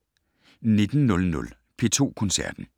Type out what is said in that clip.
19:00: P2 Koncerten